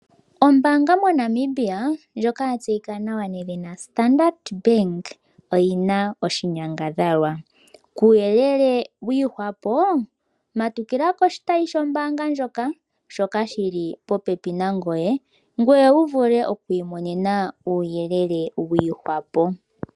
Ombaanga moNamibia ndjoka yatseyika nedhina Standard Bank oyina oshinyangadhalwa. Kuyelele wiihwapo matukila koshitayi shombaanga ndjoka shoka shili popepi nangoye, ngoye wu vule mokwiimonena uuyelele wiihwapo